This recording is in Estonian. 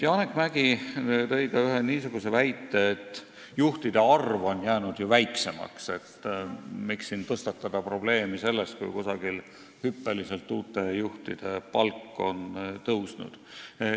Janek Mäggi tõi ka ühe niisuguse väite, et juhtide arv on ju väiksemaks jäänud ja miks siin tõstatada probleemi sellest, kui kuskil on uute juhtide palk hüppeliselt tõusnud.